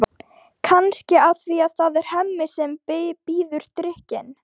Kannski af því að það er Hemmi sem býður drykkinn.